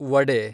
vada